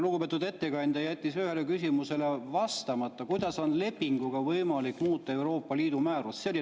Lugupeetud ettekandja jättis vastamata ühele küsimusele: kuidas on lepinguga võimalik muuta Euroopa Liidu määrust?